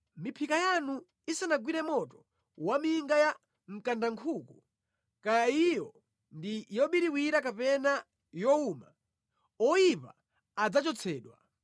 Miphika yanu isanagwire moto waminga ya mkandankhuku, kaya iyo ndi yobiriwira kapena yowuma, oyipa adzachotsedwa.